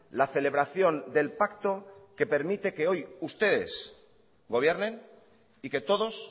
la celebración del pacto que permite que hoy ustedes gobiernen y que todos